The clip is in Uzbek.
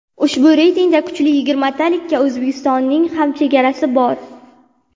Ushbu reytingda kuchli yigirmatalikda O‘zbekistonning ham chegarasi bor.